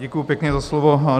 Děkuju pěkně za slovo.